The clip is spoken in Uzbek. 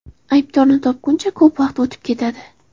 Aybdorni topguncha ko‘p vaqt o‘tib ketadi.